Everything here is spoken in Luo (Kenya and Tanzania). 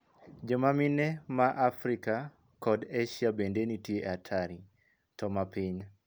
Joma mine maa Afrika kod Esia bende nitie e atari, to mapiny.